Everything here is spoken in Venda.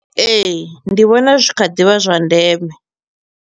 Ee, ndi vhona zwi kha ḓivha zwa ndeme.